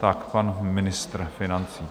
Tak pan ministr financí.